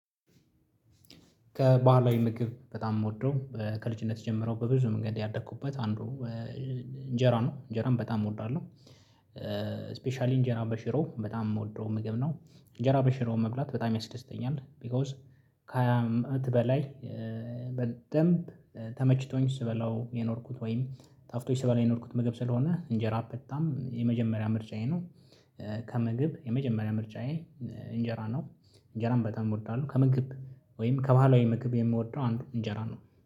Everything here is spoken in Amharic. ከባህላዊ ምግብ በጣም የምወደው ከልጅነት ጀምሮ በብዙ መንገድ ያደኩበት አንዱ እንጀራ ነው እንጀራን በጣም እወዳለሁ። ስፔሻሊ እንጀራ በሽሮ በጣም የምወደው ምግብ ነው። እንጀራ በሽሮ መብላት በጣም ያስደስተኛል ቢኮዝ ከሃያ አመት በላይ። በደንብ ተመችቶኝ ስበላው የኖርኩት ወይም ጣፍቶች ስበላ የኖርኩት ምግብ ስለሆነ እንጀራ በታም የመጀመሪያ ምርጫዬ ነው። ከምግብ የመጀመሪያ ምርጫዬ እንጀራ ነው። እንጀራን በጣም እወርዳለሁ ከመግብ ወይም ከባህላዊ ምግብ የምወደው አንዱ እንጀራ ነው